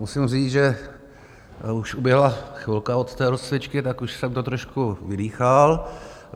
Musím říct, že už uběhla chvilka od té rozcvičky, tak už jsem to trošku vydýchal.